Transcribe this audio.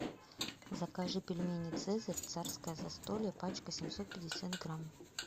закажи пельмени цезарь царское застолье пачка семьсот пятьдесят грамм